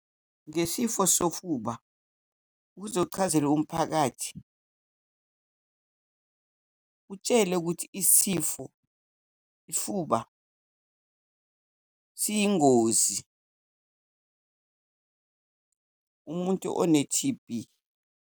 Ngesifo sofuba, ukuze uchazele umphakathi utshele ukuthi isifo, ifuba siyingozi, umuntu one-T_B.